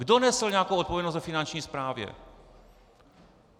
Kdo nesl nějakou odpovědnost ve Finanční správě?